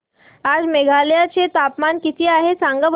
आज मेघालय चे तापमान किती आहे सांगा बरं